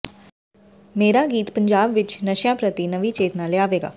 ਮੇਰਾ ਗੀਤ ਪੰਜਾਬ ਵਿੱਚ ਨਸ਼ਿਆਂ ਪ੍ਰਤੀ ਨਵੀਂ ਚੇਤਨਾ ਲਿਆਵੇਗਾ